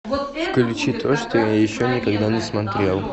включи то что я еще никогда не смотрел